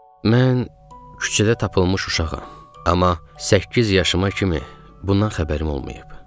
Mən küçədə tapılmış uşağam, amma səkkiz yaşıma kimi bundan xəbərim olmayıb.